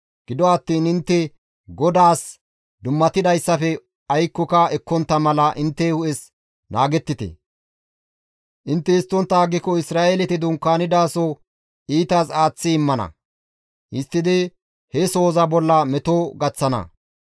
Gido attiin intte GODAAS dummatidayssafe aykkoka ekkontta mala intte hu7es naagettite; intte histtontta aggiko Isra7eeleti dunkaanidaso iitas aaththi immana; histtidi he sohoza bolla meto gaththana.